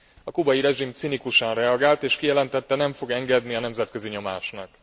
A kubai rezsim cinikusan reagált és kijelentette, nem fog engedni a nemzetközi nyomásnak.